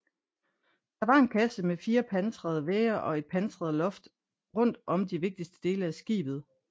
Det var en kasse med fire pansrede vægge og et pansret loft rundt om de vigtigste dele af skibet